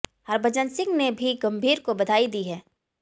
हरभजन सिंह ने भी गंभीर को बधाई दी है